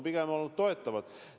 Pigem on need olnud toetavad!